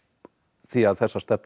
því að þessar stefnur